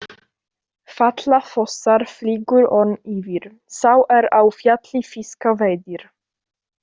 Falla fossar, flýgur örn yfir, sá er á fjalli fiska veiðir.